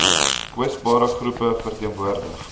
kwesbare groepe verteenwoordig